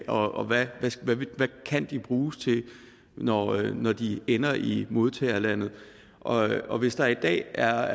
og hvad de kan bruges til når når de ender i modtagerlandet og og hvis der i dag er